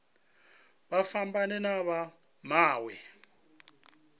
vha fhambane na vha mawe